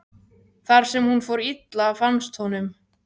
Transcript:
þar sem hún fór illa, fannst honum.